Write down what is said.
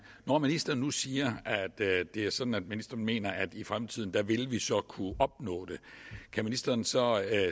når ministeren nu siger at det det er sådan at ministeren mener at vi i fremtiden vil kunne opnå det kan ministeren så